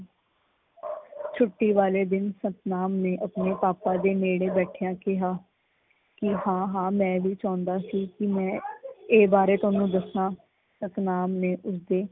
ਛੁੱਟੀ ਵਾਲੇ ਦਿਨ ਸਤਨਾਮ ਨੇ ਆਪਣੇ ਪਾਪਾ ਦੇ ਨੇੜੇ ਬੈਠਿਆ ਕਿਹਾ ਕੀ ਹਾਂ ਹਾਂ ਮੈਂ ਵੀ ਚਾਉਂਦਾ ਸੀ ਕੀ ਮੈਂ ਇਹ ਬਾਰੇ ਤੁਹਾਨੂੰ ਦੱਸਾਂ ਸਤਨਾਮ ਨੇ ਉਸਦੇ